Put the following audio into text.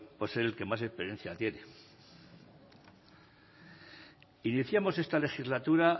por ser el que más experiencia tiene iniciamos esta legislatura